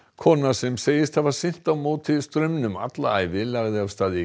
kona sem segist hafa synt á móti straumnum alla ævi lagði af stað í